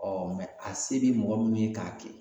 a se bi mɔgɔ min ye k'a kɛ